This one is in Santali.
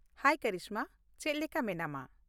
ᱦᱟᱭ ᱠᱚᱨᱤᱥᱢᱟ, ᱪᱮᱫ ᱞᱮᱠᱟ ᱢᱮᱱᱟᱢᱟ ?